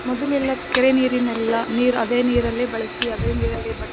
ಮೊದಲೆಲ್ಲ ಕೆರೆ ನೀರಿನೆಲ್ಲ ನೀರ್ ಅದೇ ನೀರಲ್ಲೇ ಬಳಸಿ ಅದೇ ನೀರಲ್ಲೇ ಬ--